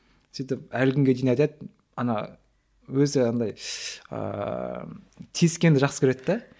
сөйтіп әлі күнге дейін айтады ана өзі андай ааа тиіскенді жақсы көреді де